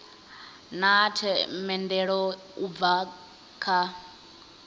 na themendelo u bva kha